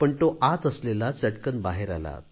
पण तो आत असलेला चटकन बाहेर आला